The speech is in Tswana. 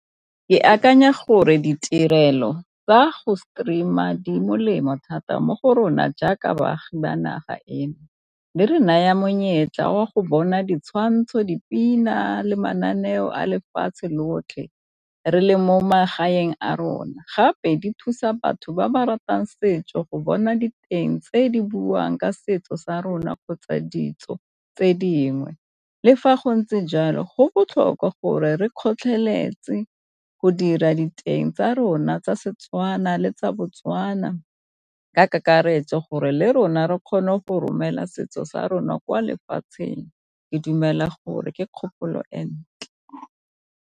Ke akanya gore ditirelo tsa go stream-a di molemo thata mo go rona jaaka baagi ba naga eno le re naya monyetla wa go bona ditshwantsho, dipina, le mananeo a lefatshe lotlhe re le mo magaeng a rona. Gape di thusa batho ba ba ratang setso go bona diteng tse di buang ka setso sa rona kgotsa ditso tse dingwe. Le fa go ntse jalo go botlhokwa gore re kgotlheletse go dira diteng tsa rona tsa Setswana le tsa Botswana ka kakaretso, gore le rona re kgone go romela setso sa rona kwa lefatsheng ke dumela gore ke kgopolo e ntle.